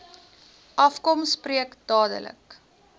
afkom spreek dadelik